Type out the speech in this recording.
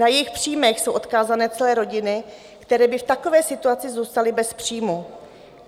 Na jejich příjmy jsou odkázané celé rodiny, které by v takové situaci zůstaly bez příjmu.